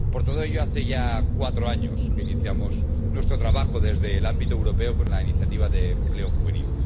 Por todo ello, hace ya cuatro años que iniciamos nuestro trabajo desde el ámbito europeo con la Iniciativa de Empleo Juvenil.